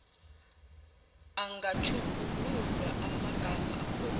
angatjhugululwa amagama akhona